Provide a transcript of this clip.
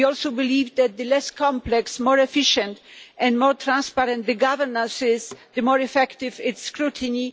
We also believe that the less complex, more efficient and more transparent the governance, the more effective its scrutiny.